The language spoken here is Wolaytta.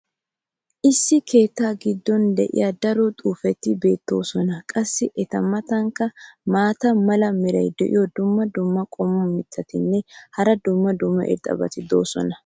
issi keettaa giddon diya daro xuufeti beettoosona. qassi eta matankka maata mala meray diyo dumma dumma qommo mitattinne hara dumma dumma irxxabati de'oosona.